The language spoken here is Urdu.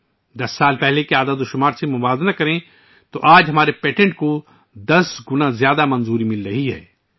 اگر 10 سال پہلے کے اعداد و شمار سے موازنہ کیا جائے تو آج، ہمارے پیٹنٹ کو 10 گنا زیادہ تیزی سے منظوری مل رہی ہے